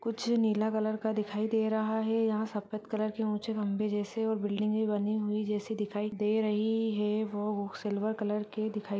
कुछ नीला कलर दिखाई दे रहा है यहां सफ़ेद कलर की के ऊँचे खम्बे जैसे और बिल्डिंगे बनी हुई जैसी दिखाई दे रही है वो सिल्वर कलर की दिखाई --